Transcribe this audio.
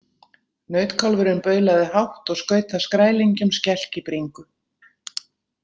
Nautkálfurinn baulaði hátt og skaut það skrælingjum skelk í bringu.